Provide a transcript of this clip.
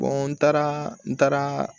n taara n taara